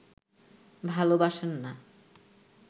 ভালোবাসেন না